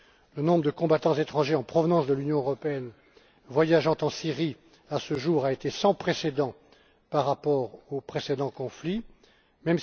Le nombre de combattants étrangers en provenance de l'Union européenne voyageant en Syrie, à ce jour, a été sans précédent par rapport aux conflits antérieurs.